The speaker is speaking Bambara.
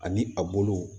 Ani a bolow